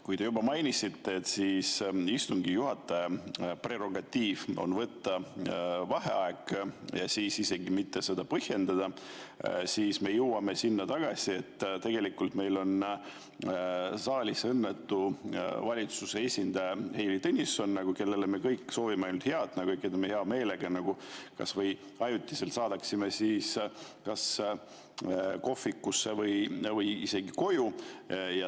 Kui te juba mainisite, et istungi juhataja prerogatiiv on võtta vaheaeg ja seda isegi mitte põhjendada, siis me jõuame tagasi sinna, et tegelikult meil on saalis õnnetu valitsuse esindaja Heili Tõnisson, kellele me kõik soovime ainult head ja me hea meelega kas või ajutiselt saadaksime ta kas kohvikusse või isegi koju.